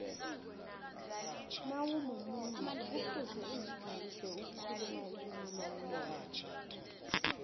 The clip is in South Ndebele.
nawumumuntu kufuze uzifundise ukukhuluma ilimi lomnotho